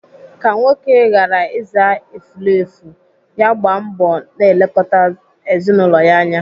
Ka nwoke ghara ịza efulefu, ya gbaa mbọ na-elekọta ezinaụlọ ya anya.